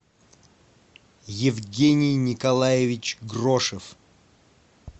евгений николаевич грошев